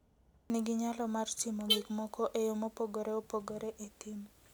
Faras nigi nyalo mar timo gik moko e yo mopogore opogore e thim.